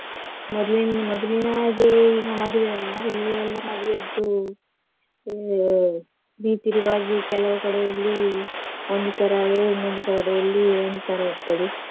ಮೊದ್ಲಿನ್~ ಮೊದಲಿನ ಹಾಗೆ ಈಗ ಮದ್ವೆ ಅಲ್ಲ ಈಗ ಎಲ್ಲಾ ಮದ್ವೆದ್ದು ಉ~ ರೀತಿ ರಿವಾಜು ಕೆಲವು ಕಡೆಯಲ್ಲಿ ಒಂದು ತರ ಆದ್ರೆ ಇನ್ನೊಂದು ಕಡೆಯಲ್ಲಿ ಒಂದು ತರ ಇರ್ತದೆ.